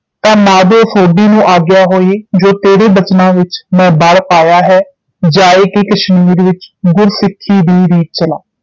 ਤਾਂ ਮਾਧੋ ਸੋਢੀ ਨੂੰ ਆਗਿਆ ਹੋਈ ਜੋ ਤੇਰੇ ਬਚਨਾਂ ਵਿਚ ਮੈਂ ਬਲ ਪਾਇਆ ਹੈ ਜਾਇ ਕੇ ਕਸ਼ਮੀਰ ਵਿਚ ਗੁਰੂ ਸਿੱਖੀ ਦੀ ਰੀਤ ਚਲਾ